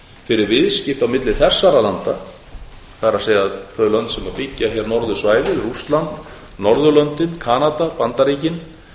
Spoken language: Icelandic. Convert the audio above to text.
fyrir viðskipti á milli þessara landa það er þau lönd sem byggja hér norðursvæðið rússland norðurlöndin kanada bandaríkin